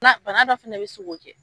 Bana bana dɔ fɛnɛ bɛ se ko kɛ.